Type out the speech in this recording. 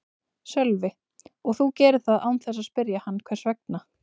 Sölvi: Og þú gerir það án þess að spyrja hann hvers vegna?